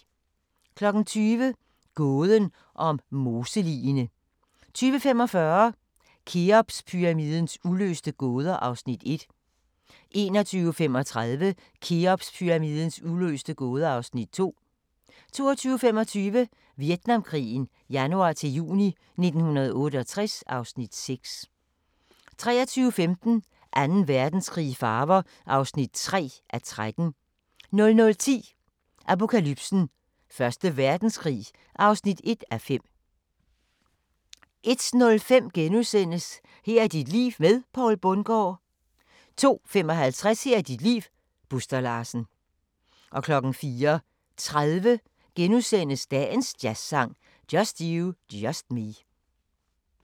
20:00: Gåden om moseligene 20:45: Kheopspyramidens uløste gåder (Afs. 1) 21:35: Kheopspyramidens uløste gåder (Afs. 2) 22:25: Vietnamkrigen januar-juni 1968 (Afs. 6) 23:15: Anden Verdenskrig i farver (3:13) 00:10: Apokalypsen: Første Verdenskrig (1:5) 01:05: Her er dit liv med Poul Bundgaard * 02:55: Her er dit liv - Buster Larsen 04:30: Dagens jazzsang: Just you, just me *